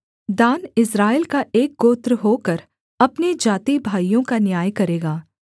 दान इस्राएल का एक गोत्र होकर अपने जातिभाइयों का न्याय करेगा